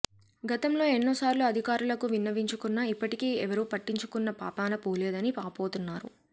గతంలో ఎన్నోసార్లు అధికారులకు విన్నవించుకున్నా ఇప్పటికీ ఎవరూ పట్టించుకున్న పాపాన పోలేదని వాపోతున్నారు